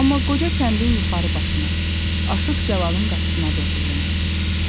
Amma qoca kəndin yuxarı başına, Aşıq Cəlalın qapısına doğru yönəldi.